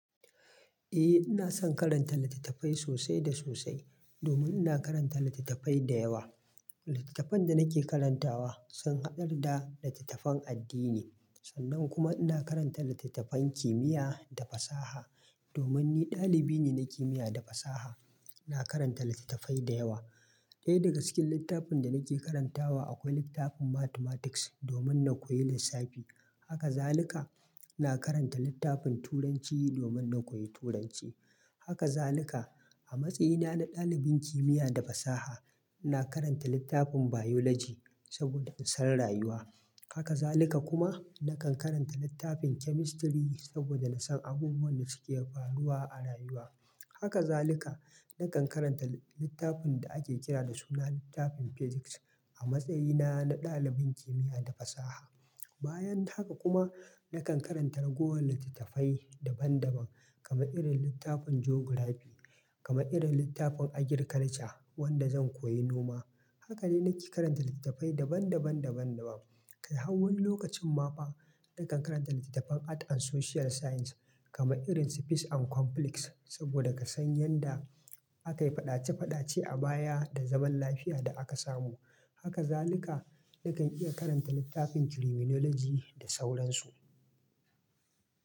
Eh, ina son karanta litattafai sosai da sosai domin ina karanta litattafai da yawa. Litattafan da nake karantawa sun hadar da litattafan addini sannan kuma ina karanta litattafan kimiyya da fasaha domin ni ɗalibai ne na kimiyya da fasaha. Na karanta litattafai da yawa. Ɗaya daga cikin littafin da nake karantawa akwai littafin Mathematics domin na koyi lissafi. Haka zalika ina karanta littafin Turanci domin na koyi Turanci. Haka zalika a matsayina na ɗalibin kimiyya da fasaha na karanta littafin Biology saboda in san rayuwa. Haka zalika kuma na kan karanta littafin Chemistry saboda na san abubuwan da suke faruwa a rayuwa. Haka zalika na kan karanta littafin da ake kira da suna littafin Physics a matsayina na ɗalibin kimiyya da fasaha. Bayan haka kuma na kan karanta ragowar litattafai daban daban kaman irin littafin Geography, kaman irin littafin Agriculture wanda zan koyi noma. Haka ne nake karanta littattafai daban daban daban daban. Kai hawan lokacin ma fa na kan karanta littattafan Art and Social Science kama irin Peace and Complex saboda ka san yanda akayi faɗace faɗace a baya da zaman lafiya da aka samu. Haka zaluka nakan iya karanta littafin Criminology da sauran su.